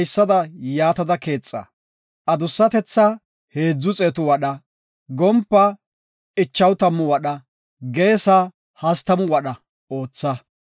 Markabiya haysada yaatada keexa; adussatethaa 300 wadha, gompaa 50 wadha, geesa 30 wadha ootha.